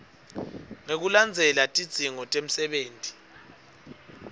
ngekulandzela tidzingo temsebenti